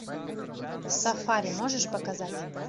сафари можешь показать